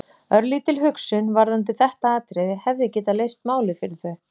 Örlítil hugsun varðandi þetta atriði hefði getað leyst málið fyrir þau.